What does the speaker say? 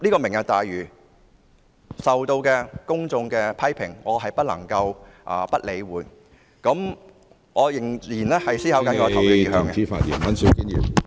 "明日大嶼"受到公眾批評，我不能夠不予理會，所以我仍在思考我的投票意向。